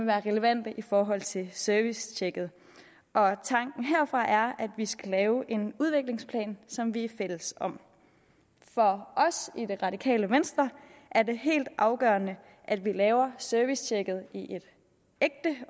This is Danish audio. være relevante i forhold til servicetjekket og tanken herfra er at vi skal lave en udviklingsplan som vi er fælles om for os i det radikale venstre er helt afgørende at vi laver servicetjekket i et ægte